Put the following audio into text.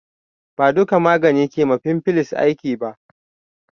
Ba duƙa magani ke ma fimfles aiki ba